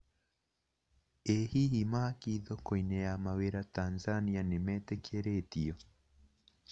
ĩ hihi, mahaki thoko-inĩ ya mawĩra Tanzania nĩmetĩkĩrĩtio